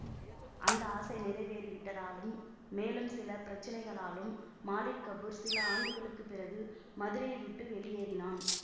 அந்த ஆசை நிறைவேரிவிட்டதாலும் மேலும் சில பிரட்சணைகளாலும் மாலிக் கபூர் சில ஆண்டுகளுக்குப்பிறகு மதுரையை விட்டு வெளியேறினான்